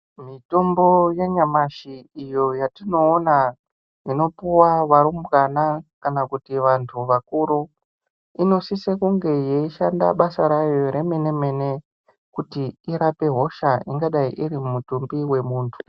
Mitombo yanyamashi iyo yatinoona inopuwa varumbwana kana kuti vantu vakuru inosisa kunge yeishanda basa rayo remene mene kuti irape hosha ingadai iri mumutumbi wemuntu.